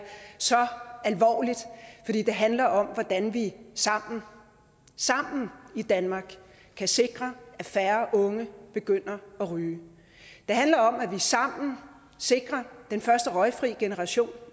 så alvorligt fordi det handler om hvordan vi sammen i danmark kan sikre at færre unge begynder at ryge det handler om at vi sammen sikrer den første røgfri generation